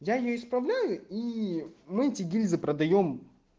я исполняю и мы эти гильзы продаём